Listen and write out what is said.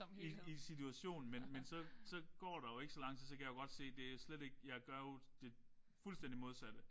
I i situationen. Men men så så går der jo ikke så lang tid så kan jeg jo godt se det jo slet ikke jeg gør jo det fuldstændig modsatte